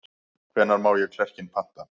Hvenær má ég klerkinn panta?